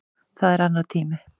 Það er annar tími.